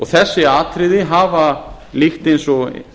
þessi atriði hafa líkt eins og